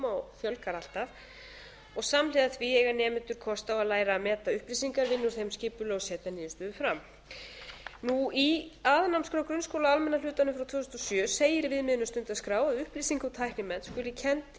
og fjölgar alltaf og samhliða því eiga nemendur kost á að læra að meta upplýsingar vinna úr þeim skipulega og setja niðurstöðu fram í aðalnámskrá grunnskóla almenna hlutanum frá tvö þúsund og sjö segir í viðmiðunarstundaskrá að upplýsinga og tæknimennt skuli kennd